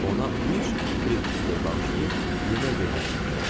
Ona üç Frixedor bağışlayıb yemək verməyi tapşırdı.